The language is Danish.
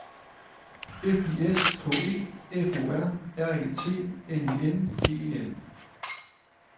F I S K E F O R R E T N I N G E N